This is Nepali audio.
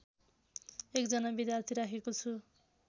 एकजना विद्यार्थी राखेको छु